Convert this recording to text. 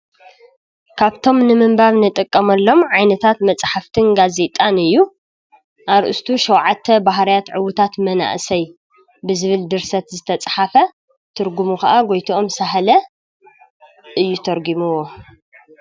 ካፍቶም ንምንባብ ንጥቀመሎም ዓይነታት መፃሕፍትን ጋዘጣን እዩ። አረስቱ 7 ባህርያት ዕውታት መናእሰይ ብዝብል ድርሰት ዝተፃሓፈ ትርጉሙ ከዓ ጎይተኦም ሳህለ እዩ ተርጉምዎ።